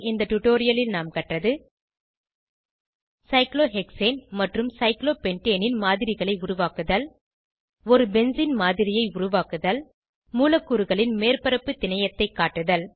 இந்த டுடோரியலில் நாம் கற்றது சைக்ளோஹெக்சேன் மற்றும் சைக்ளோபென்டேன் மாதிரிகளை உருவாக்குதல் ஒரு பென்சீன் மாதிரியை உருவாக்குதல் மூலக்கூறுகளின் மேற்பரப்பு திணையத்தை காட்டுதல்